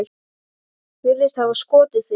Virðist hafa skotið sig.